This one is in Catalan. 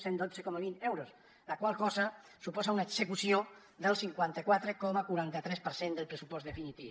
cent i dotze coma vint euros la qual cosa suposa una execució del cinquanta quatre coma quaranta tres per cent del pressupost definitiu